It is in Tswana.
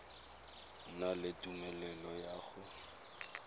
na le tumelelo ya go